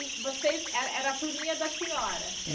E vocês era era a turminha da senhora?